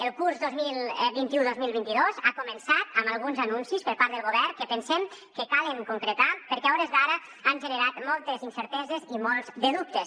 el curs dos mil vint u dos mil vint dos ha començat amb alguns anuncis per part del govern que pensem que calen concretar perquè a hores d’ara han generat moltes incerteses i molts de dubtes